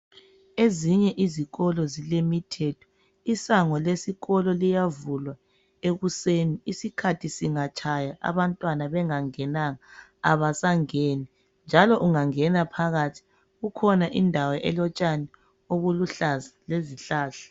Ezinye izikolo zilemithetho, isango lesikolo liyavulwa ekuseni. Isikhathi singatshaya abantwana bengangenanga abasangeni njalo ungangena phakathi ikhona indawo elotshani obuluhlaza lezihlahla.